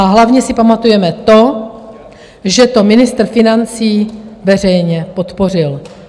A hlavně si pamatujeme to, že to ministr financí veřejně podpořil.